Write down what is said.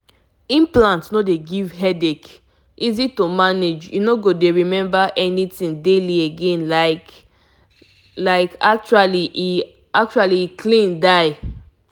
if you dey consider implant honestly na just small thing dem go do put am and you no no go dey stress over daily reminder again.